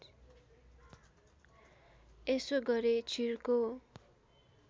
यसो गरे चिर्को